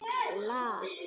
Reyndar hvar sem er.